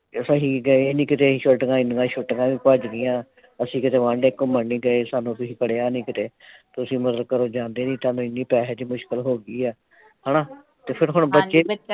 ਅਸੀਂ ਗਏ ਨਹੀ ਕਿਤੇ ਛੁੱਟੀਆਂ ਐਨੀਆਂ ਛੁੱਟੀਆਂ ਵੀ ਭੱਜ ਗਈਆਂ ਅਸੀਂ ਕਿਤੇ ਵਾਂਢੇ ਘੁੰਮਣ ਨਈਂ ਗਏ। ਸਾਨੂੰ ਕੁੱਛ ਬਣਿਆ ਨਈਂ ਕਿਤੇ। ਤੁਸੀਂ ਮਤਲਬ ਕਰੋ ਜਾਂਦੇ ਨਈਂ ਸਾਨੂੰ ਪੈਸੇ ਦੀ ਮੁਸ਼ਕਿਲ ਹੋ ਗਈ ਆ। ਹਣਾ ਤੇ ਫਿਰ ਹੁਣ ਬੱਚੇ ਨੇ।